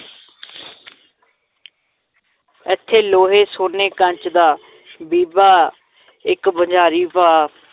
ਏਥੇ ਲੋਹੇ ਸੋਨੇ ਕੱਚ ਦਾ ਬੀਬਾ ਇੱਕ ਬਜ਼ਾਰੀਂ ਭਾ